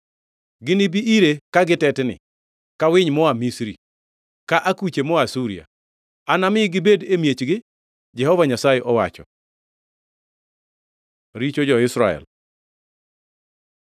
Ginibi ire ka gitetni ka winy moa Misri, ka akuche moa Asuria. Anami gibed e miechgi,” Jehova Nyasaye owacho. Richo jo-Israel